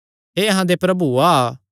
हे अहां दे प्रभु आ